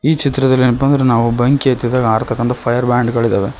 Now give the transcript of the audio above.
ಈ ಚಿತ್ರದಲ್ಲಿ ಏನಪ್ಪಾ ಅಂದ್ರೆ ನಾವು ಬೆಂಕಿ ಹತ್ತಿದಾಗ ಆರ್ಥಕಂತ ಫೈಯರ್ ಬ್ಯಾಂಡ್ಗಳಿದವೆ.